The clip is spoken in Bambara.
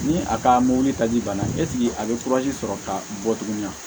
Ni a ka mobili taji banna eseke a bɛ sɔrɔ ka bɔ tuguni